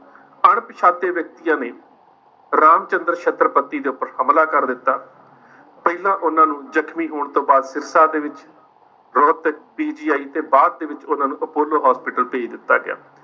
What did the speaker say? ਅਣਪਛਾਤੇ ਵਿਅਕਤੀਆਂ ਨੇ ਰਾਮਚੰਦਰ ਛਤਰਪਤੀ ਦੇ ਉੱਪਰ ਹਮਲਾ ਕਰ ਦਿੱਤਾ ਪਹਿਲਾਂ ਉਹਨਾਂ ਨੂੰ ਜ਼ਖਮੀ ਹੋਣ ਤੋਂ ਬਾਅਦ ਸਿਰਸਾ ਦੇ ਵਿੱਚ ਰੋਹਤਕ PGI ਤੇ ਬਾਅਦ ਦੇ ਵਿੱਚ ਉਹਨਾਂ ਨੂੰ ਅਪੋਲੋ hospital ਭੇਜ ਦਿੱਤਾ ਗਿਆ।